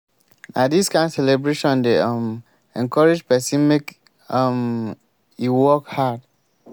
na dis kain celebration dey um encourage pesin make um e work hard.